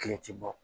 Kile ti bɔ